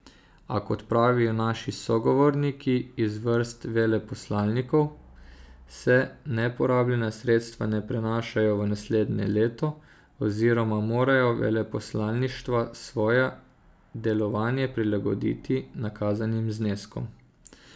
A, kot pravijo naši sogovorniki iz vrst veleposlanikov, se neporabljena sredstva ne prenašajo v naslednje leto oziroma morajo veleposlaništva svoje delovanje prilagoditi nakazanim zneskom.